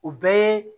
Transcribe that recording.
O bɛɛ ye